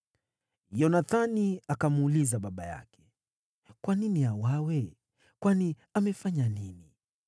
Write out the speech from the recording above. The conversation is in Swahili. Yonathani akamuuliza baba yake, “Kwa nini auawe? Kwani amefanya nini?”